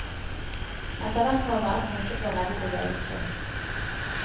Etter hvert må han bare tenke på å redde sitt eget skinn.